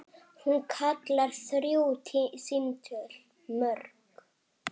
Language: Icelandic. Hún kallar þrjú símtöl mörg.